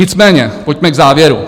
Nicméně pojďme k závěru.